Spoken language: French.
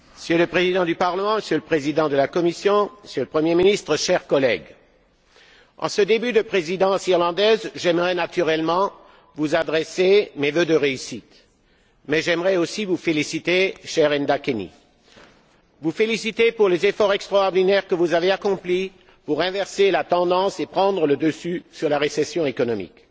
Monsieur le Président du Parlement, Monsieur le Président de la Commission, Monsieur le Premier ministre, chers collègues, en ce début de présidence irlandaise, j'aimerais, naturellement, vous adresser mes vœux de réussite. Mais j'aimerais aussi vous féliciter, cher Enda Kenny, vous féliciter pour les efforts extraordinaires que vous avez accomplis pour inverser la tendance et prendre le dessus sur la récession économique.